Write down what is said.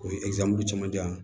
O ye camancɛ yan